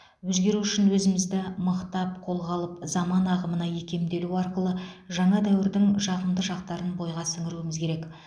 өзгеру үшін өзімізді мықтап қолға алып заман ағымына икемделу арқылы жаңа дәуірдің жағымды жақтарын бойға сіңіруіміз керек